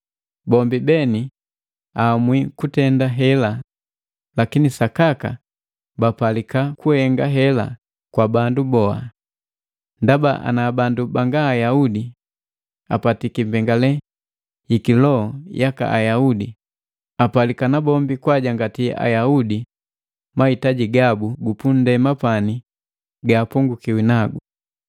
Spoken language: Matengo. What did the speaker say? Bombi beni aamwi kutenda hela, lakini sakaka bapalika kuhenga hela kwa bandu haba. Ndaba, ana bandu banga Ayaudi apatiki mbengale yiki loho yaka Ayaudi, apalika na bombi kwaajangati Ayaudi mahitaji gabu gupundema pani gahapongukiwi nagu.